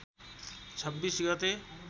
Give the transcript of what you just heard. २६ गते